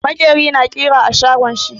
Makeri na ƙira a shago shi.